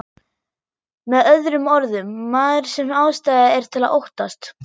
Með öðrum orðum, maður sem ástæða er til að óttast.